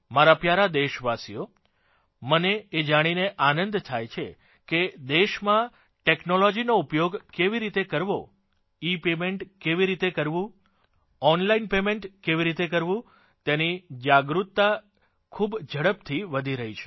મારા પ્યારા દેશવાસીઓ મને એ જાણીને આનંદ થાય છે કે દેશમાં ટેકનોલોજીનો ઉપયોગ કેવી રીતે કરવો ઇપેમેન્ટ કેવી રીતે કરવું ઓનલાઇન પેમેન્ટ કેવી રીતે કરવું તેની જાગૃતતા ખૂબ ઝડપથી વધી રહી છે